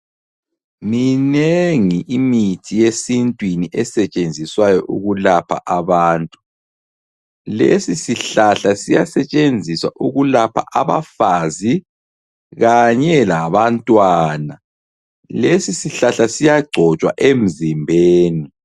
Minengi imithi yesintwini esetshenziswayo ukulapha abantu. Lesisihlahla siyasetshenziswa ukulapha abafazi kanye labantwana. Lesisihlahla siyagcotshwa emzimbeni.